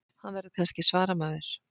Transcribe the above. Hann verður kannski svaramaður.